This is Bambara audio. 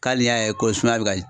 Ka hali n'i y'a ye ko sumaya bɛ ka